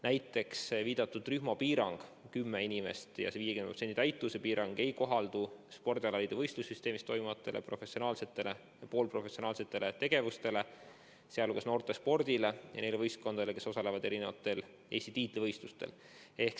Näiteks viidatud rühmapiirang kümme inimest ja 50% täitumuse piirang ei kohaldu spordialaliidu võistlussüsteemis toimuvatele professionaalsetele ja poolprofessionaalsetele tegevustele, sh noortespordile ja neile võistkondadele, kes osalevad erinevatel Eesti tiitlivõistlustel.